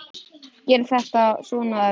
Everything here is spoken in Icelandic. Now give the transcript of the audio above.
Gera þetta svona erfitt.